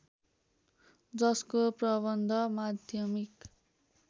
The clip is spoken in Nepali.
जसको प्रबन्ध माध्यमिक